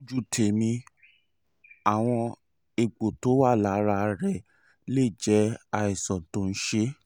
lójú tèmi àwọn egbò tó wà lára rẹ̀ lè jẹ́ àìsàn tó ṣe é